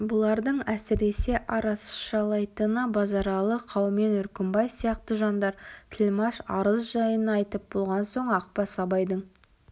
бұлардың әсіресе арашалайтыны базаралы қаумен үркімбай сияқты жандар тілмәш арыз жайын айтып болған соң ақбас абайдың